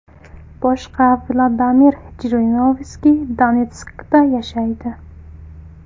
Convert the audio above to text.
Boshqa Vladimir Jirinovskiy Donetskda yashaydi.